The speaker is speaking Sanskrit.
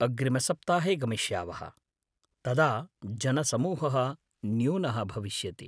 अग्रिमसप्ताहे गमिष्यावः, तदा जनसमूहः न्यूनः भविष्यति।